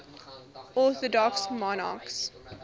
orthodox monarchs